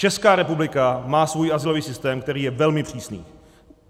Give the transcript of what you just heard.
Česká republika má svůj azylový systém, který je velmi přísný.